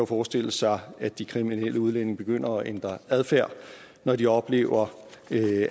forestille sig at de kriminelle udlændinge begynder at ændre adfærd når de oplever